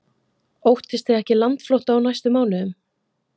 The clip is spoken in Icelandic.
Óttist þið ekki landflótta á næstu mánuðum?